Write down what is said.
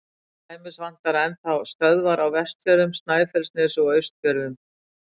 Til dæmis vantar enn þá stöðvar á Vestfjörðum, Snæfellsnesi og Austfjörðum.